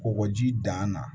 Kɔgɔji dan na